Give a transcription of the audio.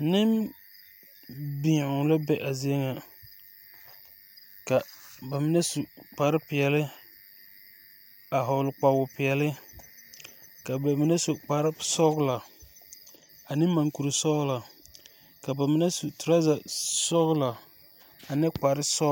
Neŋbeow la be a zie ŋa ka ba mine su kparepeɛle a hɔgle kpawopeɛɛle la ba mine su kparesɔglɔ ane mankurisɔglɔ ka ba mine su trɔza sɔglɔ ane kparesɔglɔ.